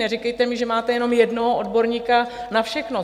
Neříkejte mi, že máte jenom jednoho odborníka na všechno.